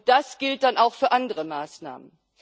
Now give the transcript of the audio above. Das gilt dann auch für andere Maßnahmen.